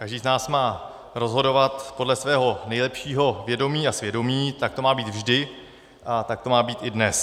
Každý z nás má rozhodovat podle svého nejlepšího vědomí a svědomí, tak to má být vždy a tak to má být i dnes.